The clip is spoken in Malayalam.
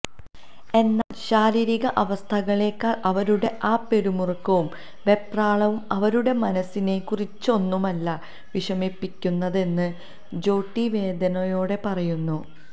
എന്നാൽ ശാരീരിക അവസ്ഥകളെക്കാൾ അവരുടെ ആ പിരിമുറുക്കവും വെപ്രാളവും അവരുടെ മനസ്സിനെ കുറച്ചൊന്നുമല്ല വിഷമിപ്പിക്കുന്നതെന്ന് ജോട്ടി വേദനയോടെ പറയുന്നു